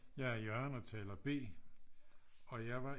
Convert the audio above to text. Jeg er Jørgen og taler B og jeg var i